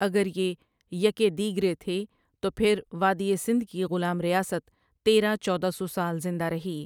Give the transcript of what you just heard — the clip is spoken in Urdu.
اگر یہ یکے دیگر تھے تو پھر وادی سندھ کی غلام ریاست تیرہ چودہ سو سال زندہ رہی۔